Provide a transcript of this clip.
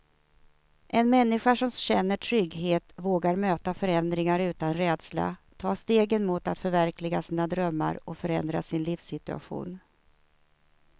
En människa som känner trygghet vågar möta förändringar utan rädsla, ta stegen mot att förverkliga sina drömmar och förändra sin livssituation.